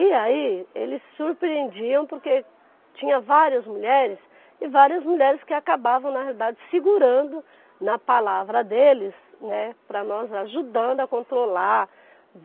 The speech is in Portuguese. E aí, eles surpreendiam porque tinha várias mulheres e várias mulheres que acabavam, na realidade, segurando na palavra deles, né, para nós ajudando a controlar.